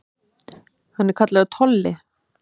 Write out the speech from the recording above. Hann er kallaður Tolli.